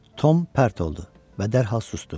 Tom pərt oldu və dərhal susdu.